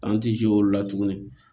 An ti olu la tuguni